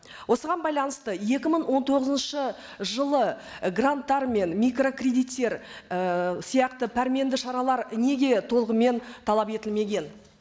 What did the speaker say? осыған байланысты екі мың он тоғызыншы жылы і гранттар мен микрокредиттер і сияқты пәрменді шаралар неге толығымен талап етілмеген